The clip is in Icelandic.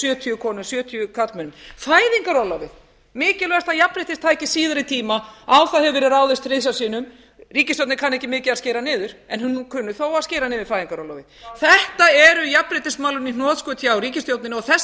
sjötíu konum sjötíu karlmönnum fæðingarorlofið mikilvægasta jafnréttistæki síðari tíma á það hefur verið ráðist þrisvar sinnum ríkisstjórnin kann ekki mikið að skera niður en hún kunni þó að skera niður fæðingarorlofið þetta eru jafnréttismálin í hnotskurn hjá ríkisstjórninni og þess vegna